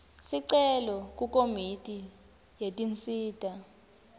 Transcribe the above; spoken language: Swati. sicelo kukomiti yetinsita